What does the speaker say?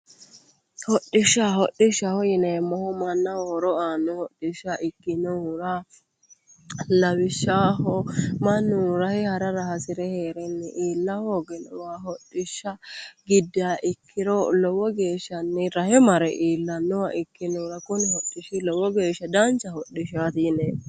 Hodhishsha hodhishshaho yineemmohu mannaho horo aanno hodhishsha ikkinohura lawishshaho mannu rahe harara hasire heerenni iilla hoogiro hodhishsha giddiha ikkiro lowo geeshshanni rahe mare iillannoha ikkinohura kuni hodhishshi lowo geeshsha dancha hodhishshaati yineemmo.